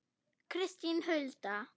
Kristín Hulda.